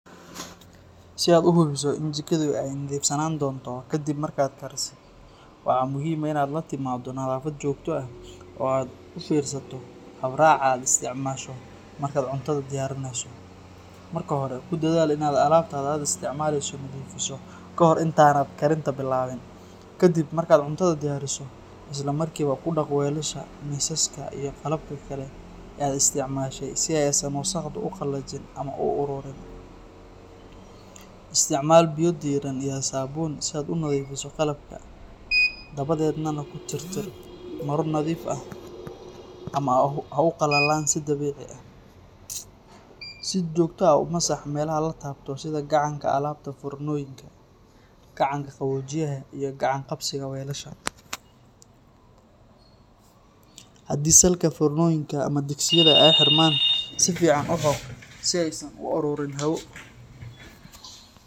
Si aad u hubiso in jikadaadu ay nadiifsanaan doonto kadib markaad karisid, waxaa muhiim ah inaad la timaado nadaafad joogto ah oo aad u fiirsato habraaca aad isticmaasho markaad cuntada diyaarinayso. Marka hore, ku dadaal in aad alaabta aad isticmaalayso nadiifiso ka hor inta aanad karinta bilaabin. Kadib markaad cuntada diyaariso, isla markiiba ku dhaq weelasha, miisaska, iyo qalabka kale ee aad isticmaashay si aysan wasakhdu u qallajin ama u ururin. Isticmaal biyo diirran iyo saabuun si aad u nadiifiso qalabka, dabadeedna ku tir tira maro nadiif ah ama ha u qalalaan si dabiici ah. Si joogto ah u masax meelaha la taabto sida gacanka albaabka foornooyinka, gacanka qaboojiyaha, iyo gacan-qabsiga weelasha. Haddii salka foornooyinka ama digsiyada ay xirmaan, si fiican u xoq si aysan u ururin hawo.